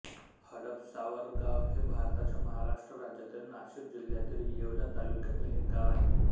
हडपसावरगाव हे भारताच्या महाराष्ट्र राज्यातील नाशिक जिल्ह्यातील येवला तालुक्यातील एक गाव आहे